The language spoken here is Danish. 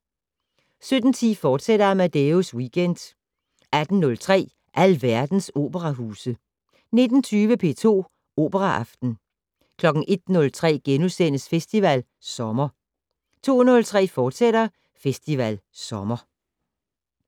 17:10: Amadeus Weekend, fortsat 18:03: Alverdens operahuse 19:20: P2 Operaaften 01:03: Festival Sommer * 02:03: Festival Sommer, fortsat